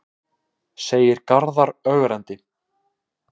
segir Garðar ögrandi.